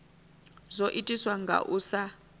zwo itiswa nga u sa